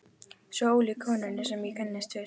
Svo ólík konunni sem ég kynntist fyrst.